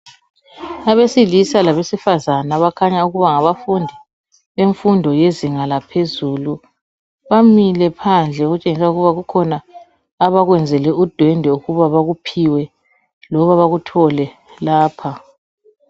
Abesilisa labesifazana abakhanya ukuba ngabafundi bemfundo yezinga laphezulu, bamile phandle okutshengisa ukuba kukhona abakwenzele udwendwe ukuba bakuphiwe, loba bakuthole lapha.